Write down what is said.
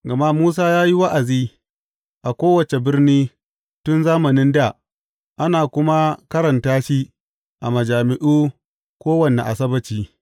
Gama Musa ya yi wa’azi a kowace birni tun zamanin dā, ana kuma karanta shi a majami’u kowane Asabbaci.